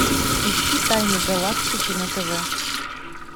ищи тайны галактики на тв